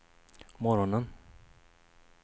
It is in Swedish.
morgonen